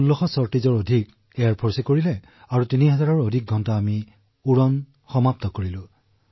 প্ৰায় ১৬০০ত কৈও অধিক ছৰ্টীজ চৰ্টিজ বায়ু সেনা বাহিনীয়ে কৰিছে আৰু ৩০০০ত কৈও অধিক ঘণ্টা আমি উৰিছো